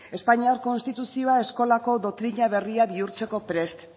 espainiar konstituzioa eskola doktrina berri bihurtzeko prest